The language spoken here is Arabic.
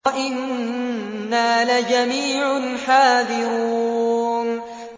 وَإِنَّا لَجَمِيعٌ حَاذِرُونَ